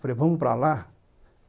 Falei, vamos para lá?